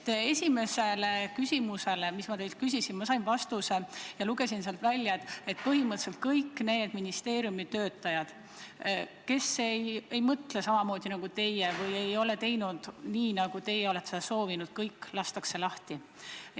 Esimesele küsimusele, mis ma teilt küsisin, sain ma vastuse, millest ma lugesin välja, et põhimõtteliselt kõik need ministeeriumi töötajad, kes ei mõtle samamoodi nagu teie või ei ole teinud nii, nagu teie olete seda soovinud, lastakse lahti.